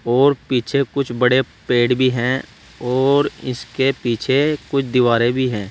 और पीछे कुछ बड़े पेड़भी हैं और इसके पीछे कुछ दीवारें भी हैं।